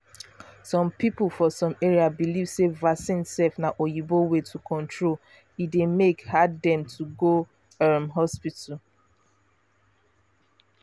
some people for some area believe sey vaccines um na oyibo way to control e dey make hard dem to go um hospital.